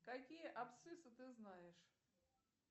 какие абсциссы ты знаешь